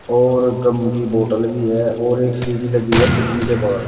और गम की बोटल भी है और एक सीढ़ी लगी है फिटिंग के बाहर।